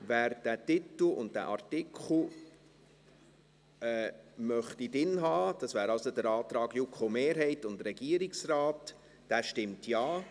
Wer diesen Titel und Artikel drin haben möchte – das wäre also der Antrag JuKo-Mehrheit und Regierungsrat –, stimmt Ja,